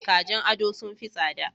Kajin ado sun fi tsada.